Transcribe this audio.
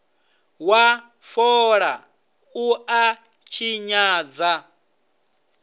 wa fola u a tshinyadza